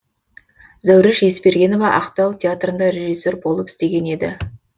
зәуреш есбергенова ақтау театрында режиссер болып істеген еді